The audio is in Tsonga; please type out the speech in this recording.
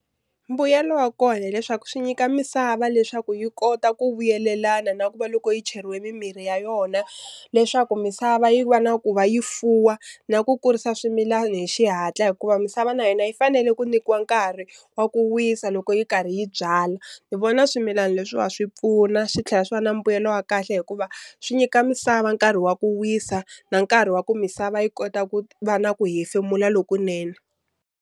Mbuyelo wa kona hileswaku swi nyika misava leswaku yi kota ku vuyelelana na ku va loko yi cheriwile mimirhi ya yona leswaku misava yi va na ku va yi fuwa na ku kurisa swimilani hi xihatla, hikuva misava na yona yi fanele ku nyikiwa nkarhi wa ku wisa loko yi karhi yi byala. Ni vona swimilani leswiwa swi pfuna swi tlhela swi va na mbuyelo wa kahle hikuva swi nyika misava nkarhi wa ku wisa na nkarhi wa ku misava yi kota va na ku hefemula lokunene.